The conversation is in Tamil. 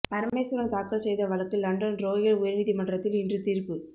பரமேஸ்வரன் தாக்கல் செய்த வழக்கு லண்டன் றோயல் உயர் நீதிமன்றில் இன்று தீர்ப்பு